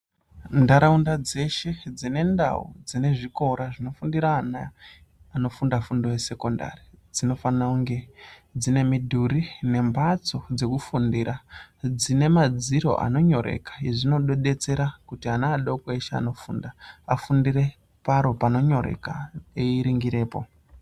Nharaunda dzeshe dzinendau dzinezvikora zvinofundira ana anofunda fundo yesekondari dzinofanira kunge dzine midhuri nemhatso dzekufundira dzinemaadziro anonyoreka izvi zvinodetsera kuti ana adoko eshe anofunda afundire paro panonyoreka eringirepo.